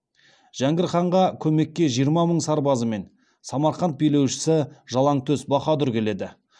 жәңгір ханға көмекке жиырма мың сарбазымен самарқан билеушісі жалаңтөс баһадүр келеді